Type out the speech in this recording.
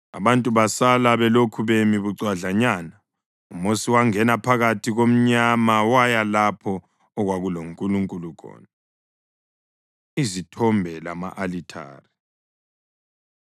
Abantu basala belokhu bemi bucwadlanyana, uMosi wangena phakathi komnyama waya lapho okwakuloNkulunkulu khona. Izithombe Lama-alithare